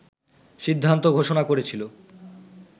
সিদ্ধান্ত ঘোষণা করেছিল